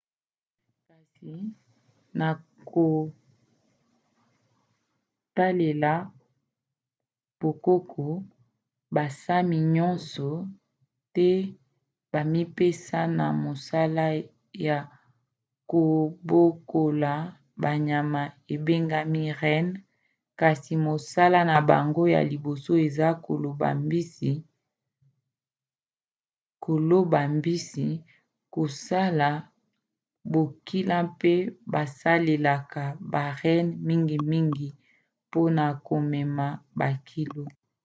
kasi na kotalela bokoko basami nyonso te bamipesa na mosala ya kobokola banyama ebengami renne kasi mosala na bango ya liboso eza koloba mbisi kosala bokila pe basalelaka ba renne mingimingi mpona komema bakilo